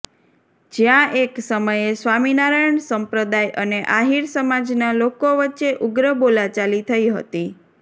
જ્યાં એક સમયે સ્વામિનારાયણ સંપ્રદાય અને આહીર સમાજના લોકો વચ્ચે ઉગ્ર બોલાચાલી થઈ હતી